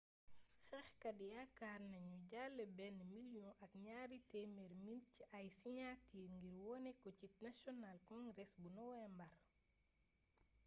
xeexkat yakaar nagnu dajalé ben million ak niari temer mil ci ay siniatir ngir woné ko ci national congress bu nowembar